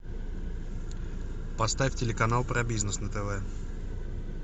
поставь телеканал про бизнес на тв